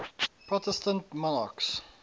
protestant monarchs